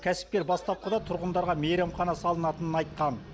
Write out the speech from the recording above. кәсіпкер бастапқыда тұрғындарға мейрамхана салатынын айтқан